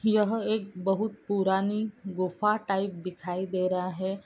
यहा एक बोहउत पुरानी गुफ्फा टाइप दिखाई दे रहा है।